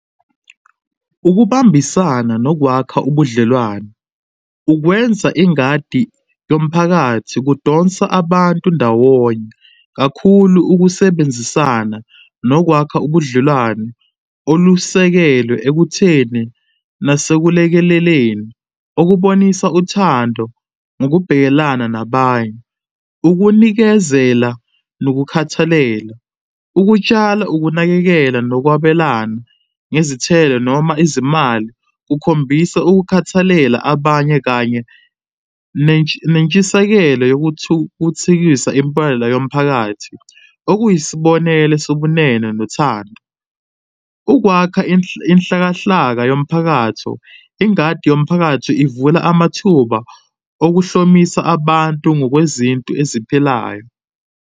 Ukubambisana nokwakha ubudlelwano, ukwenza ingadi yomphakathi kudonsa abantu ndawonye kakhulu ukusebenzisana nokwakha ubudlelwano olusekelwe ekutheni nasekulekeleleni okubonisa uthando ngokubhekelana nabanye. Ukunikezela nokukhathalela, ukutshala, ukunakekela, nokwabelana ngezithelo noma izimali kukhombisa ukukhathalela abanye kanye nentshisekelo yokuthukuthikisa impela yomphakathi, okuyisibonelo sobunene nothando. Ukwakha inhlakahlaka yomphakatho, ingadi yomphakatho ivula amathuba okuhlomisa abantu ngokwezinto eziphilayo.